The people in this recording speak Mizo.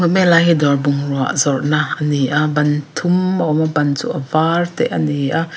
lai hi dawr bungrua zawrhna ani a ban thum a awma ban chu a var te ani a.